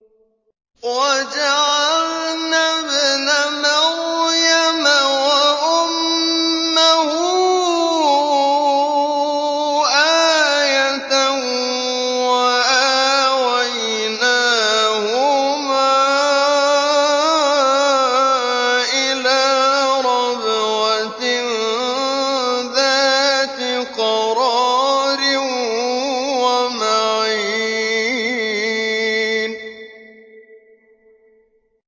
وَجَعَلْنَا ابْنَ مَرْيَمَ وَأُمَّهُ آيَةً وَآوَيْنَاهُمَا إِلَىٰ رَبْوَةٍ ذَاتِ قَرَارٍ وَمَعِينٍ